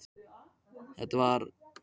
Það er varla að hún teikni.